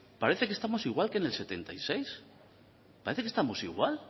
parece que estamos igual que en el setenta y seis parece que estamos igual